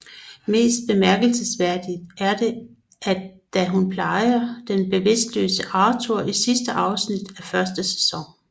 Mest bemærkelsesværdigt er det at da hun plejer den bevidstløse Arthur i sidste afsnit af første sæson